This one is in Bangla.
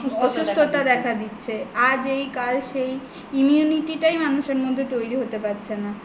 অসুস্থতা দেখা দিচ্ছে আজ এই কাল সেই immunity টাই মানুষের মধ্যে তৈরী হতে পারছে না